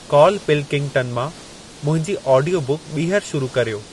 Karl Pilkington मां मुंहिंजी audio बुकु ॿीहर शुरू कर्यो